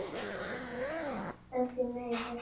En því miður.